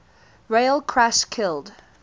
rail crash killed